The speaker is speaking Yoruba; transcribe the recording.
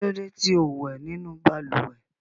Kí ló dé tí ò wẹ̀ nínú balùwẹ̀?